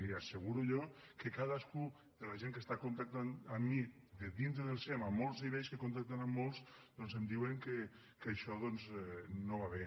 li asseguro jo que cadascú de la gent que està contactant amb mi de dintre del sem en molts nivells que contacten amb molts doncs em diuen que això doncs no va bé